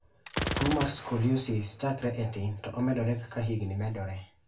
Tuo mar Scoliosis chakre e tin to omedore kaka higni medore.